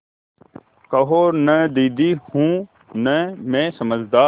कहो न दीदी हूँ न मैं समझदार